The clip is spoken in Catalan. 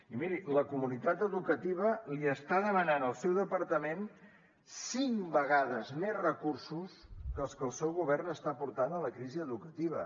i miri la comunitat educativa li està demanant al seu departament cinc vegades més recursos que els que el seu govern està aportant a la crisi educativa